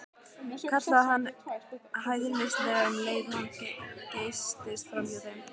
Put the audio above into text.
kallaði hann hæðnislega um leið og hann geystist framhjá þeim.